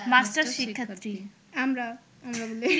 masters শিক্ষার্থী